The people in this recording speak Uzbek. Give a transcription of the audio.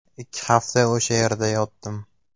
Ikki hafta o‘sha yerda yotdim.